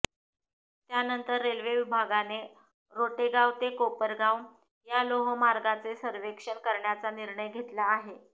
त्यानंतर रेल्वे विभागाने रोटेगाव ते कोपरगाव या लोहमार्गाचे सर्वेक्षण करण्याचा निर्णय घेतला आहे